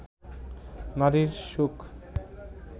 নারীর সুখ